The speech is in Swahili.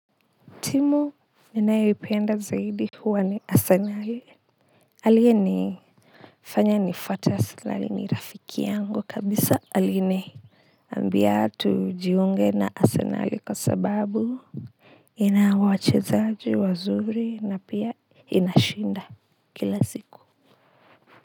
Timu ninayoipenda zaidi huwa ni Arsenali aliyenifanya nifuate Arsenali ni rafiki yangu kabisa aliniambia tujiunge na Arsenali kwa sababu ina wachezaji wazuri na pia inashinda kila siku.